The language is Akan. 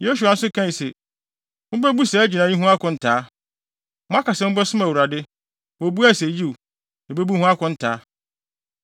Yosua nso kae se, “Mubebu saa gyinae yi ho akontaa. Moaka sɛ mobɛsom Awurade.” Wobuae se, “Yiw, yebebu ho akontaa.”